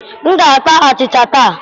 M ga-ata achịcha taa.